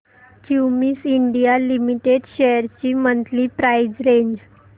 Cummins India limited shares ची monthly price range